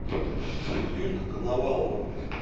юлька коновалова